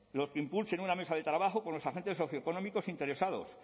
los que impulsen una mesa de trabajo con los agentes socioeconómicos interesados